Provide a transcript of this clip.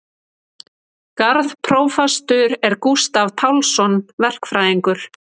Garðprófastur er Gústav Pálsson verkfræðingur.